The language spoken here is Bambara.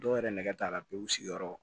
Dɔw yɛrɛ nɛgɛ t'a la pewu u sigiyɔrɔ